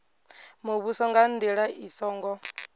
muvhuso nga ndila i songo